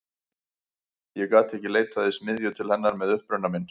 Ég gat ekki leitað í smiðju til hennar með uppruna minn.